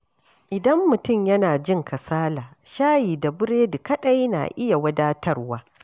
Idan mutum yana jin kasala, shayi da burodi kadai na iya wadatarwa.